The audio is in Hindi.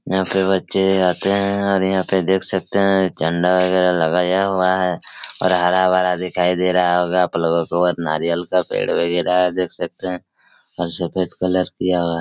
यहाँ पे बच्चे आते हैं और यहाँ पे देख सकते हैं झंण्डा वगेरा लगाया हुआ है और हरा-भरा दिखाई दे रहा होगा आपलोगो को और नारियल का पेड़ वगेरा हैं देख सकते हैं और सफ़ेद कलर किया हुआ--